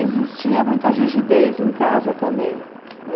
Existia muita rigidez em casa também, né?